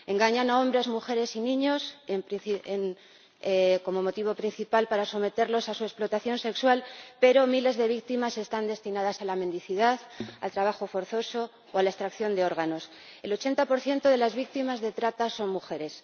Engañan a hombres, mujeres y niños, como motivo principal para someterlos a explotación sexual, pero miles de víctimas están destinadas a la mendicidad, al trabajo forzoso o a la extracción de órganos. El 80 de las víctimas de trata son mujeres.